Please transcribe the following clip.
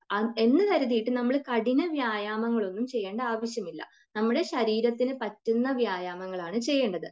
എന്ന് കരുതീട്ട് നമ്മൾ കഠിന വ്യായാമങ്ങൾ ഒന്നും ചെയ്യേണ്ട ആവശ്യമില്ല. നമ്മുടെ ശരീരത്തിന് പറ്റുന്ന വ്യായാമങ്ങൾ ആണ് ചെയ്യേണ്ടത്